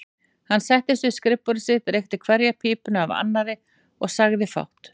Hann settist við skrifborð sitt, reykti hverja pípuna af annarri og sagði fátt.